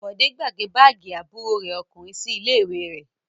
Bọ̀dé gbàgbé báágì àbúrò rẹ̀ ọkùnrin sí ilé-ìwé rẹ̀?